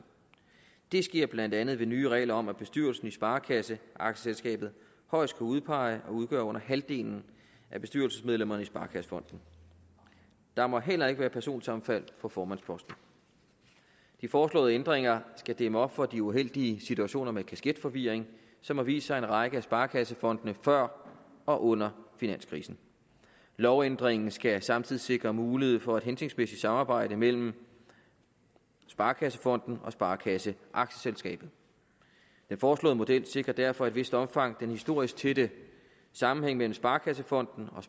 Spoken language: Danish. det sker blandt andet ved nye regler om at bestyrelsen i sparekasseaktieselskabet højst kan udpege og udgøre under halvdelen af bestyrelsesmedlemmerne i sparekassefonden der må heller ikke være personsammenfald på formandsposten de foreslåede ændringer skal dæmme op for de uheldige situationer med kasketforvirring som har vist sig i en række af sparekassefondene før og under finanskrisen lovændringen skal samtidig sikre mulighed for et hensigtsmæssigt samarbejde mellem sparekassefonden og sparekasseaktieselskabet den foreslåede model sikrer derfor i et vist omfang den historisk tætte sammenhæng mellem sparekassefonden og